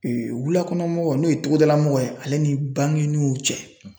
Ee wulakɔnɔmɔgɔw n'o ye togodalamɔgɔ ye ale ni bankiniw cɛ